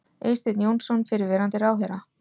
Eysteinn Jónsson, fyrrverandi ráðherra.